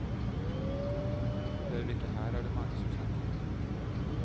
Heller ikke her er det mange som snakker.